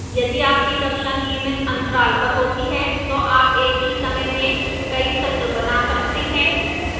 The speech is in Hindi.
यदि आपकी कक्षा नियमित अंतराल पर होती है तो आप एक ही समय में कई सत्र बना सकते हैं